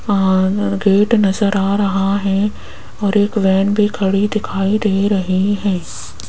आ न गेट नजर आ रहा है और एक वैन भी खड़ी दिखाई दे रही है।